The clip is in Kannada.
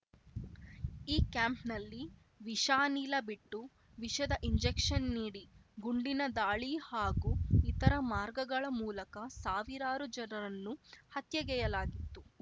ಈ ಕ್ಯಾಂಪ್‌ನಲ್ಲಿ ವಿಷಾನಿಲ ಬಿಟ್ಟು ವಿಷದ ಇಂಜೆಕ್ಷನ್‌ ನೀಡಿ ಗುಂಡಿನ ದಾಳಿ ಹಾಗೂ ಇತರ ಮಾರ್ಗಗಳ ಮೂಲಕ ಸಾವಿರಾರು ಜನರನ್ನು ಹತ್ಯೆಗೈಯಲಾಗಿತ್ತು